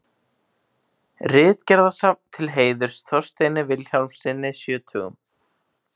Ritgerðasafn til heiðurs Þorsteini Vilhjálmssyni sjötugum.